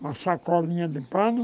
uma sacolinha de pano.